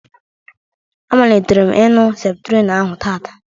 A malitere m ịñu Septrin ahụ taataa